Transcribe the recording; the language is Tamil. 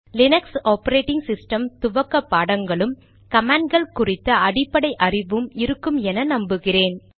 லீனக்ஸ் ஆபரேடிங் சிஸ்டம் துவக்க பாடங்களும் கமாண்ட் கள் குறித்த அடிப்படை அறிவும் இருக்கும் என்று நம்புகிறேன்